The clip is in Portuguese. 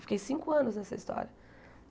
Fiquei cinco anos nessa história.